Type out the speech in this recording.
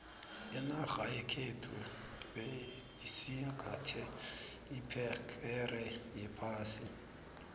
inarha yekhethu beyisingathe iphegere yephasi